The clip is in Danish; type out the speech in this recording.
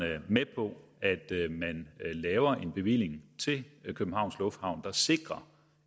med på at man laver en bevilling til københavns lufthavn der sikrer